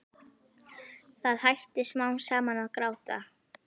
Það hætti smám saman að gráta.